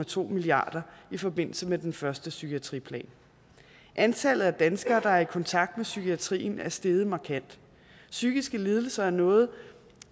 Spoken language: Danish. to milliard kroner i forbindelse med den første psykiatriplan antallet af danskere der er i kontakt med psykiatrien er steget markant psykiske lidelser er noget